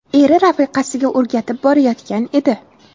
Eri rafiqasiga o‘rgatib borayotgan edi.